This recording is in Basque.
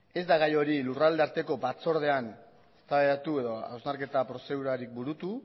ez da gai hori lurralde arteko batzordean eztabaidatu edo hausnarketa prozedurarik burutu